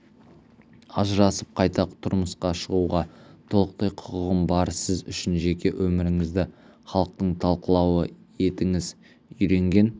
ажырасып қайта тұрмысқа шығуға толықтай құқығым бар сіз үшін жеке өміріңізді халықтың талқылауы етіңіз үйренген